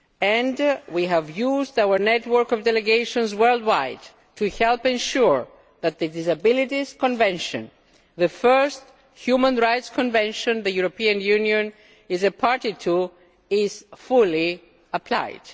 And we have used our network of delegations worldwide to help ensure that the Disabilities Convention the first human rights convention the European Union has been a party to is fully applied.